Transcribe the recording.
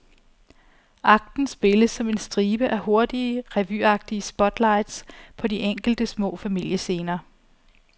Akten spilles som en stribe af hurtige, revyagtige spotlights på de enkelte små familiescener.